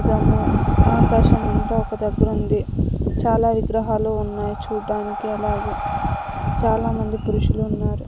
దము ఆకాశమంత ఒక దగ్గర ఉంది చాలా విగ్రహాలు ఉన్నాయి చూడ్డానికి అలాగే చాలామంది పురుషులు ఉన్నారు.